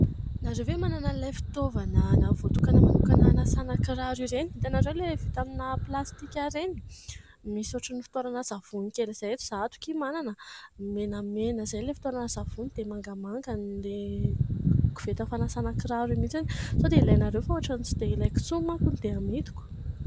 Ianareo ve manana an'ilay fitaovana voatokana manokana hanasana kiraro ireny ? Itanareo ilay vita amina plastika ireny ? Misy ohatran'ny fitoerana savony kely izay. Izaho ato aky manana an ! Menamena izay ilay fitoerana savony dia mangamanga ilay koveta fanasana kiraro iny mihitsy. Sao dia ilainareo fa ohatran'ny tsy dia ilaiko intsony manko dia amidiko.